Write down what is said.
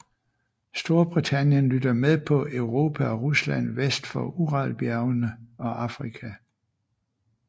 Storbritannien lytter med på Europa og Rusland vest for Uralbjergene og Afrika